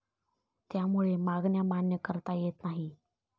त्यामुळे मागण्या मान्य करता येत नाहीत.